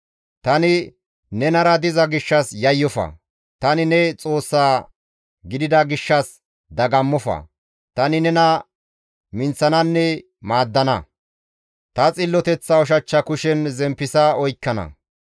Tani nenara diza gishshas yayyofa; tani ne Xoossa gidida gishshas dagammofa. Tani nena minththananne maaddana. Ta xilloteththa ushachcha kushen zemppisa oykkana.